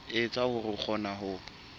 etsa hore o kgone ho